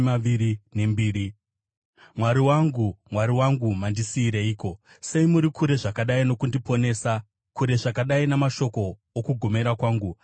Mwari wangu, Mwari wangu, mandisiyireiko? Sei muri kure zvakadai nokundiponesa, kure zvakadai namashoko okugomera kwangu?